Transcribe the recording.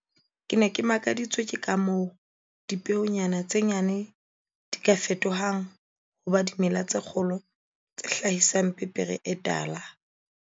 "Ke ne ke makaditswe ke ka moo dipeonyana tse nyane di ka fetohang ho ba dimela tse kgolo tse hlahisang pepere e tala."